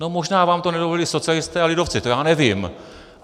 No možná vám to nedovolili socialisté a lidovci, to já nevím.